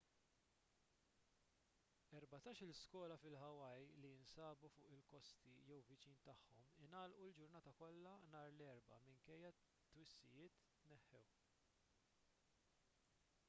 erbatax-il skola fil-hawaii li jinsabu fuq il-kosti jew viċin tagħhom ingħalqu l-ġurnata kollha nhar l-erbgħa minkejja li t-twissijiet tneħħew